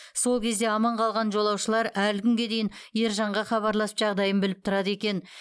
сол кезде аман қалған жолаушылар әлі күнге дейін ержанға хабарласып жағдайын біліп тұрады екен